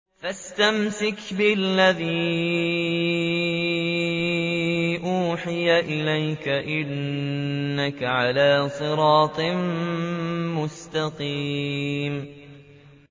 فَاسْتَمْسِكْ بِالَّذِي أُوحِيَ إِلَيْكَ ۖ إِنَّكَ عَلَىٰ صِرَاطٍ مُّسْتَقِيمٍ